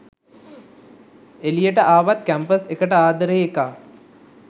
එලියට ආවත් කැම්පස් එකට ආදරේ එකා